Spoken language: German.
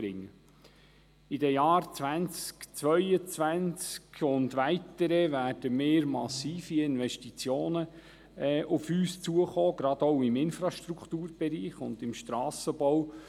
In den Jahren 2022 und folgende werden grosse Investitionen auf uns zukommen, gerade auch im Infrastrukturbereich und im Strassenbau.